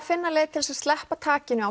finna leið til að sleppa takinu